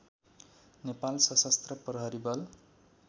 नेपाल सशस्त्र प्रहरी बल